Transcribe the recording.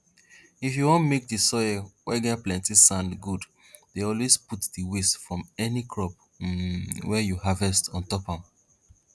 if you wan make di soil wey get plenti sand good dey always put di waste from any crop um wey you harvest on top am